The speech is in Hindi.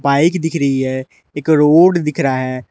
बाइक दिख रही है एक रोड दिख रहा है।